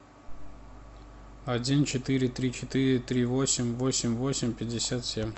один четыре три четыре три восемь восемь восемь пятьдесят семь